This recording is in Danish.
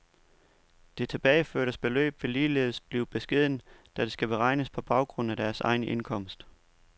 Det tilbageførte beløb vil ligeledes blive beskedent, da det skal beregnes på baggrund af deres egen indkomst.